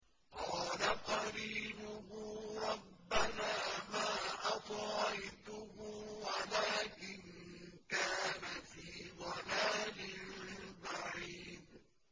۞ قَالَ قَرِينُهُ رَبَّنَا مَا أَطْغَيْتُهُ وَلَٰكِن كَانَ فِي ضَلَالٍ بَعِيدٍ